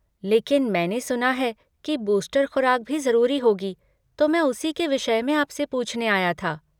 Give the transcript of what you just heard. लेकिन मैंने सुना है की बूस्टर खुराक भी ज़रूरी होगी तो मैं उसी के विषय में आपसे पूछने आया था।